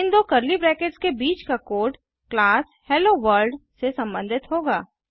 इन दो curly brackets के बीच का कोड़ क्लास हेलोवर्ल्ड से संबंधित होगा